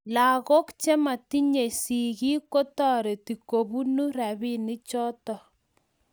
lagook chematinyei sigiik ketoreti kobuno robinichoto